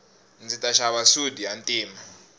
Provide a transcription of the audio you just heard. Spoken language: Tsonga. ndzi ta xava sudi ya ntima